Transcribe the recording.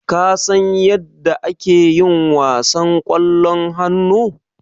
Kasan yadda ake yin wasan ƙwallon hannu?